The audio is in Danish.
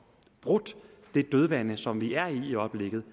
brudt det dødvande som vi er i øjeblikket